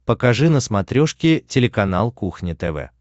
покажи на смотрешке телеканал кухня тв